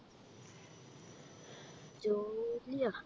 ജോലിയാ